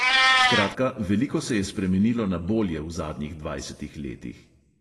Skratka, veliko se je spremenilo na bolje v zadnjih dvajsetih letih.